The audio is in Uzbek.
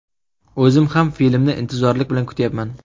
O‘zim ham filmni intizorlik bilan kutyapman.